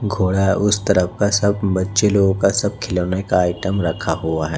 घोड़ा उस तरफ का सब बच्चे लोगों का सब खिलौने का आइटम रखा हुआ है।